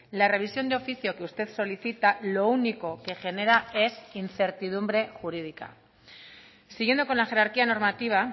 la revisión de oficio que usted solicita lo único que genera es incertidumbre jurídica siguiendo con la jerarquía normativa